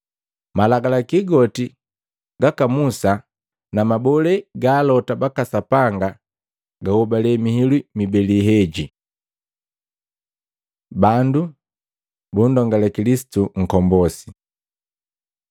Malagalaki goti gaka Musa na mabole ga alota baka Sapanga gahobale mihilu mibeli heji.” Bandu bundongale Kilisitu Nkombosi Maluko 12:35-37; Luka 20:41-44